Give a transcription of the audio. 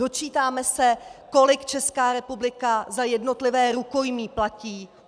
Dočítáme se, kolik Česká republika za jednotlivé rukojmí platí.